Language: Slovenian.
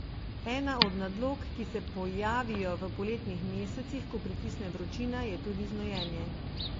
Ena od nadlog, ki se pojavijo v poletnih mesecih, ko pritisne vročina, je tudi znojenje.